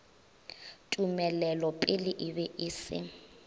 tumelelopele e be e se